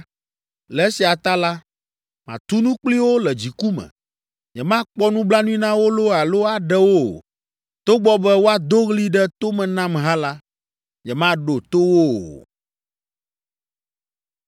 Le esia ta la, matu nu kpli wo le dziku me. Nyemakpɔ nublanui na wo loo alo aɖewo o. Togbɔ be woado ɣli ɖe tome nam hã la, nyemaɖo to wo o.”